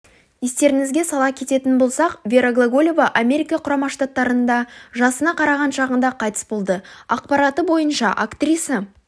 естеріңізге сала кететін болсақ вера глаголеваамерика құрама штаттарында жасына қараған шағында қайтыс болды ақпараты бойынша актриса